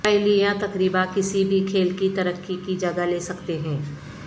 پہیلیاں تقریبا کسی بھی کھیل کی ترقی کی جگہ لے سکتے ہیں